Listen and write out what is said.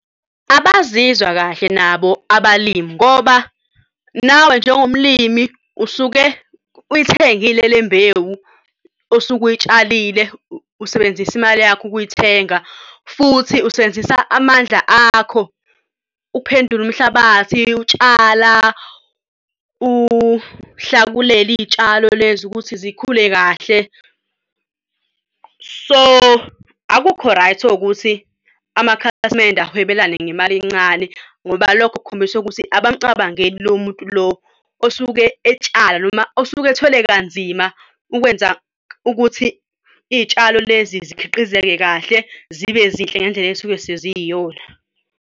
Abazizwa kahle nabo abalimi ngoba nawe njengomlimi usuke uyithengile le mbewu osuke uy'tshalile, usebenzise imali yakho ukuyithenga futhi usebenzisa amandla akho uphendule umhlabathi, utshala, uhlakulele iy'tshalo lezo ukuthi zikhule kahle. So, akukho right ukuthi amakhasimende awahwebelane ngemali encane ngoba lokhu kukhombisa ukuthi abamcabangeli lo muntu lo osuke etshala noma osuke ethwele kanzima ukwenza ukuthi iy'tshalo lezi zikhiqizeke kahle zibe zinhle ngendlela ey'suke seziyiyona.